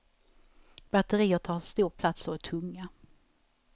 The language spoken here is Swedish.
Batterier tar stor plats och är tunga.